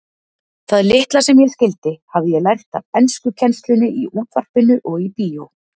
Það litla sem ég skildi hafði ég lært af enskukennslunni í útvarpinu og í bíó.